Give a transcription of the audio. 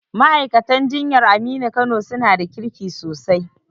Ma'aikatan jinyan Aminu Kano su na da kirki sosai